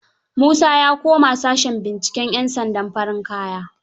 Musa ya koma sashen binciken 'yansandan farin kaya.